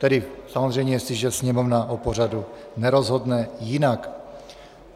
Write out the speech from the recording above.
Tedy samozřejmě, jestliže Sněmovna o pořadu nerozhodne jinak.